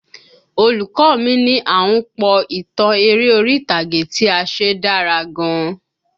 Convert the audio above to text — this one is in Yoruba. Olùkọ́ mi ní àhunpọ̀ ìtàn eré orí ìtàgé tí a ṣe dára gan